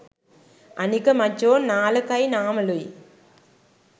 අනික මචෝ නාලකයි නාමලුයි